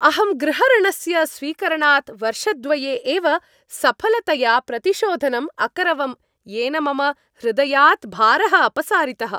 अहं गृहऋणस्य स्वीकरणात् वर्षद्वये एव सफलतया प्रतिशोधनं अकरवम्, येन मम हृदयात् भारः अपसारितः।